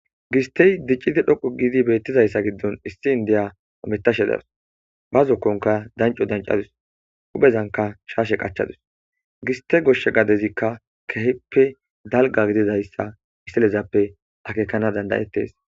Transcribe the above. Gistey diccidi dhoqo giidi beettizayssa giddon issi indiya omettashe daus ba zokkonka danco dancadus uphezanka shaashe qachadus giste goshshe gadezikka keheppe dalga gidizayssa istalezappe akekana dandayettes